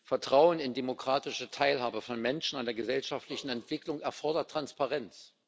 Vertrauen in demokratische Teilhabe von Menschen an der gesellschaftlichen Entwicklung erfordert Transparenz.